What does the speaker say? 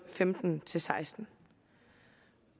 femten til seksten